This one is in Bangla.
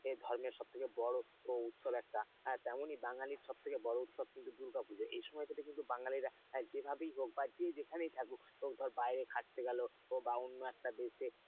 এ ধর্মের সবচেয়ে বড় উৎসব একটা তেমনি বাঙালির সবথেকে বড় উৎসব কিন্তু দুর্গাপুজো এই সময় কিন্তু বাঙালিরা যেভাবেই হোক বা যে যেখানেই থাকুক বা বাইরে খাটতে গেল বা অন্য একটা দেশে,